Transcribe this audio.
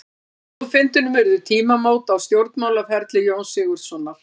Á þjóðfundinum urðu tímamót á stjórnmálaferli Jóns Sigurðssonar.